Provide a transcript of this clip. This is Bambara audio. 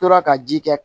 Tora ka ji kɛ